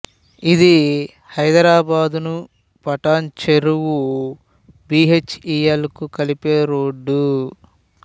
ఇది హైదరాబాదును Patancheru B H E L కు కలిపే రోడ్డు